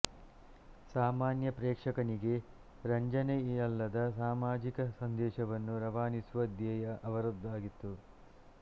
ಸಾಮಾನ್ಯ ಪ್ರೇಕ್ಷಕನಿಗೆ ರಂಜನೆಯಲ್ಲದೆ ಸಾಮಾಜಿಕ ಸಂದೇಶವನ್ನು ರವಾನಿಸುವ ದ್ಯೇಯ ಅವರದಾಗಿತ್ತು